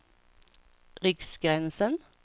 Riksgränsen